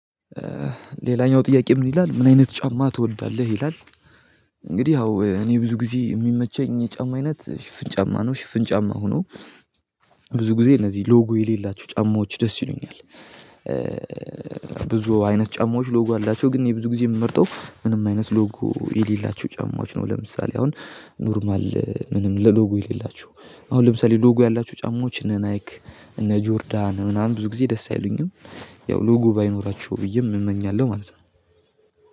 ሌላኛው ጥያቄ ምን ይላል ምን አይነት ጫማ ትወልዳለህ ይላል? እንግዲህ አዎ እኔ ብዙ ጊዜ የሚመቸኝ ጫማ አይነት ሽፍን ጫማ ነው ሽፍን ጫማ ሆኖ ብዙ ጊዜ እነዚህ ሎጎ የሌላቸው ጫማዎች ደስ ይሉኛል። ብዙ አይነት ጫማዎች ሎጎ አላቸው ግን የብዙ ጊዜ የምመርጠው ምንም አይነት ሎጎ የሌላቸው ጫማዎች ነው። ለምሳሌ አሁን ኖርማል ምንም ለሎጎ የሌላቸው አሁን ለምሳሌ ሎጎ ያላቸው ጫማዎች እነ ናይክ እነ ጆርዳን ምናምን ብዙ ጊዜ ደስ አይሉኝም። ያው ሉጉ ባይኖራቸው ብዬም እመኛለሁ ማለት ነው።